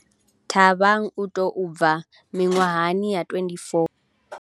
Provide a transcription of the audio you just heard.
Thabang u tou bva miṅwahani ya 24 yo fhelaho.